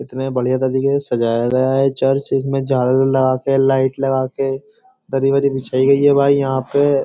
कितने बढ़िया तरीके से सजाया गया है ये चर्च इसमें झालर लगा के लाईट लगा के दरी वरी बिछाई गई है। भाई यहां पे।